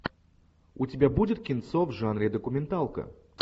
у тебя будет кинцо в жанре документалка